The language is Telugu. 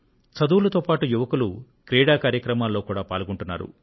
చదువులతో పాటు యువకులు క్రీడా కార్యక్రమాల్లో కూడా పాల్గొంటున్నారు